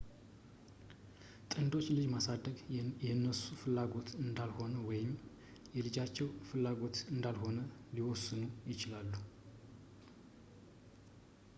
ጥንዶች ልጅ ማሳደግ የነሱ ፍላጎት እንዳልሆነ ወይም የልጃቸው ፍላጎት እንዳልሆነ ሊወስኑ ይችላሉ